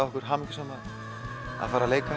okkur hamingjusöm að fara að leika